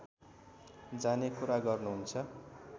जाने कुरा गर्नुहुन्छ